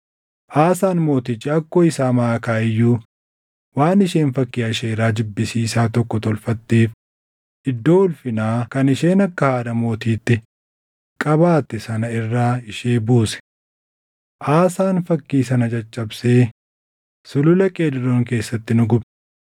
Aasaan Mootichi akkoo isaa Maʼakaa iyyuu waan isheen fakkii Asheeraa jibbisiisaa tokko tolfatteef iddoo ulfinaa kan isheen akka haadha mootiitti qabaatte sana irra ishee buuse. Aasaan fakkii sana caccabsee Sulula Qeedroon keessatti ni gube.